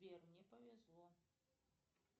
сбер мне повезло